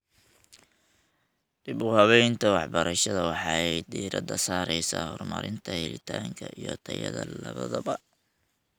Dib-u-habaynta waxbarashada waxay diiradda saaraysaa horumarinta helitaanka iyo tayada labadaba.